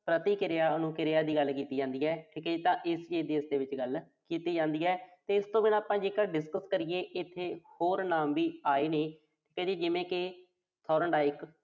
ਪ੍ਰਤੀਕਿਰਿਆ, ਅਨੁਕਿਰਿਆ ਦੀ ਗੱਲ ਕੀਤੀ ਜਾਂਦੀ ਆ। ਦੀ ਵੀ ਇਸਦੇ ਵਿੱਚ ਗੱਲ ਕੀਤੀ ਜਾਂਦੀ ਆ। ਤਾਂ ਇਸਤੋਂ ਬਿਨਾਂ ਜੇਕਰ ਆਪਾਂ discuss ਕਰੀਏ, ਇਥੇ ਹੋਰ ਨਾਮ ਵੀ ਆਏ ਨੇ। ਇਹਦੇ ਜਿਵੇਂ ਕਿ Thorndike